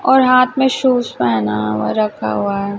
और हाथ में शूज पहना और रखा हुआ है।